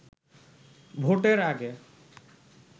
ভোটের আগে